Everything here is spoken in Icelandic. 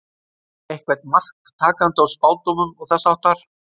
Er eitthvert mark takandi á spádómum og þess háttar?